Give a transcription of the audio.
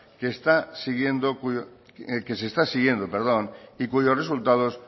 que se está siguiendo y cuyos resultados